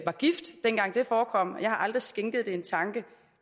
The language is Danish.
var gift jeg har aldrig skænket det en tanke